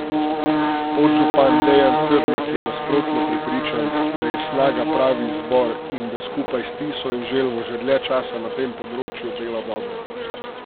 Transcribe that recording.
Podžupan Dejan Crnek je nasprotno prepričan, da je Snaga pravi izbor in da skupaj s Tiso in Želvo že dlje časa na tem področju dela dobro.